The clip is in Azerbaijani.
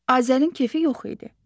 Azərin kefi yox idi.